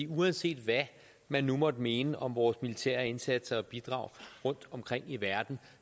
uanset hvad man nu måtte mene om vores militære indsatser og bidrag rundtomkring i verden